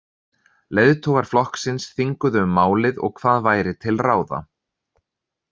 Leiðtogar flokksins þinguðu um málið og hvað væri til ráða.